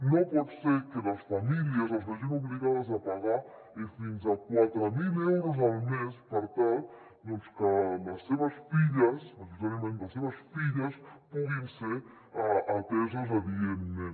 no pot ser que les famílies es vegin obligades a pagar fins a quatre mil euros al mes per tal que les seves filles majoritàriament les seves filles puguin ser ateses adientment